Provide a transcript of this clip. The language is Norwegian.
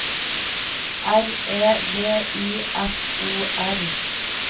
R E V I S O R